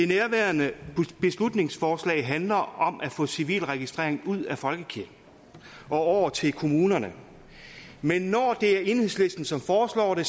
nærværende beslutningsforslag handler om at få civilregistrering ud af folkekirken og over til kommunerne men når det er enhedslisten som foreslår det